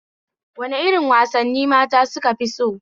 Wani irin wasane mata sukafi so?